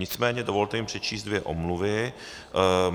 Nicméně dovolte mi přečíst dvě omluvy.